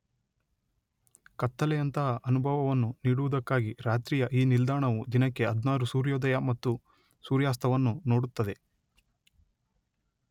ಕತ್ತಲೆಯಂತಹ ಅನುಭವವನ್ನು ನೀಡುವುದಕ್ಕಾಗಿ ರಾತ್ರಿಯ ಈ ನಿಲ್ದಾಣವು ದಿನಕ್ಕೆ ಹದ್ನಾರು ಸೂರ್ಯೋದಯ ಮತ್ತು ಸೂರ್ಯಾಸ್ತವನ್ನು ನೋಡುತ್ತದೆ.